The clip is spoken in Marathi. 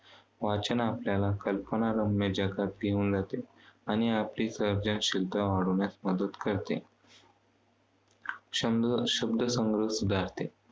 वाचन आपल्याला कल्पनारम्य जगात घेऊन जाते. आणि आपल्याली सर्जनशीलता वाढवण्यास मदत करते. शब्दसंग्रह सुधारते.